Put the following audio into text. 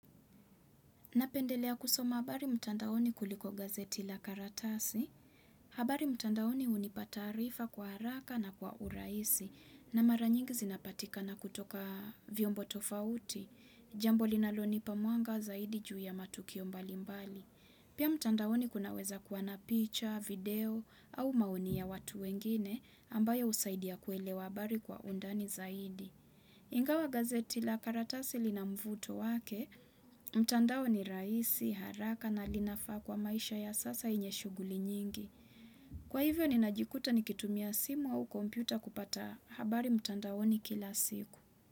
Napendelea kusoma habari mtandaoni kuliko gazeti la karatasi. Habari mtandaoni hunipa taarifa kwa haraka na kwa uraisi na maranyingi zinapatikana kutoka vyombo tofauti. Jambo linalo nipa mwanga zaidi juu ya matukio mbali mbali. Pia mtandaoni kunaweza kua na picha, video au maonia watu wengine ambayo usaidia kuelewa habari kwa undani zaidi. Ingawa gazeti la karatasi linamvuto wake, mtandao ni raisi, haraka na linafaa kwa maisha ya sasa yenye shughuli nyingi. Kwa hivyo ni najikuta ni kitumia simu au kompyuta kupata habari mtandaoni kila siku.